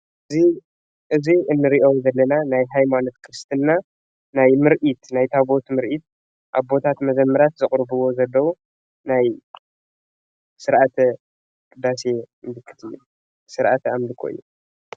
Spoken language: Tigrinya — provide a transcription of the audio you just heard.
እዚ እንሪኦም ዘለና ናይ ሃይማኖት ክርስትና ናይ ምርኢት ናይ ታዎት ምርኢት ኣቦታት መዘምራት ዘቅርብዎ ዘለው ናይ ስርዓተ ቅዳሴ ምልክት ስርዓተ ኣምልኾ እዩ ።